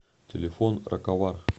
телефон раковар